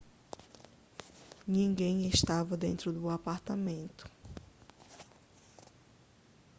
ninguém estava dentro do apartamento